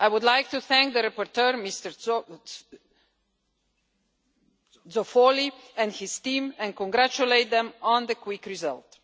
I would like to thank the rapporteur, Mr Zoffoli, and his team and congratulate them on the quick result.